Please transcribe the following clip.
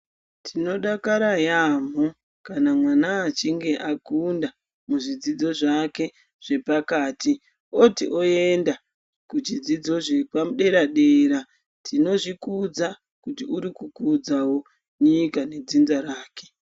Tinodakara yamu kana mwana achinge akunda zvidzidzo zvake zvepakati oti oenda kuchidzidzo zvederadera, tinozvikudza kuti urikukudza nyika ne dzinza rake.